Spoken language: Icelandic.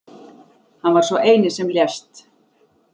Hann var sá eini sem lést